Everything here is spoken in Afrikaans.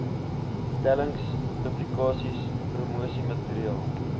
stellings publikasies promosiemateriaal